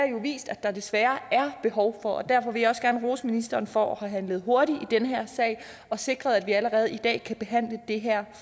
jo vist at der desværre er behov for det og derfor vil jeg gerne rose ministeren for at have handlet hurtigt i den her sag og sikret at vi allerede i dag kan behandle det her